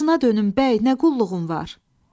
Başına dönüm bəy, nə qulluğun var?